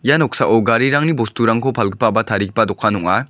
ia noksao garirangni bosturangko palgipa ba tarigipa dokan ong·a.